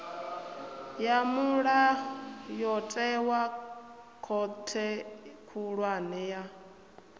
ya mulayotewa khothe khulwane ya